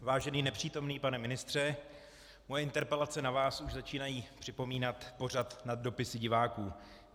Vážený nepřítomný pane ministře, moje interpelace na vás už začínají připomínat pořad Nad dopisy diváků.